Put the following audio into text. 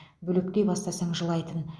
бөлектей бастасаң жылайтын